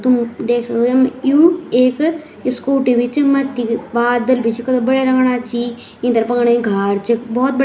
तुम देख सक्दो यम यु एक स्कूटी भी च मथ्थी बादल भी च कथा बढ़िया लगना छी इंतर पकन्य यु घार च भोत ब --